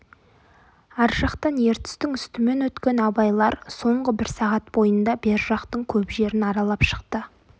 ар жақтан ертістің үстімен өткен абайлар соңғы бір сағат бойында бер жақтың көп жерін аралап шықты